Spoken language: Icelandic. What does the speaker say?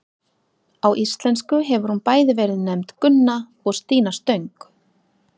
Á íslensku hefur hún bæði verið nefnd Gunna og Stína stöng.